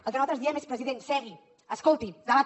el que nosaltres diem és president segui escolti debati